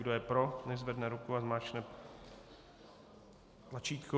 Kdo je pro, nechť zvedne ruku a zmáčkne tlačítko.